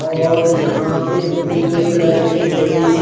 और यहा पे ब्लू कलर की एक बड़ी सी--